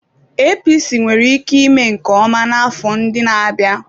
APC nwere ike ime nke ọma n'afọ ndị na-abịa.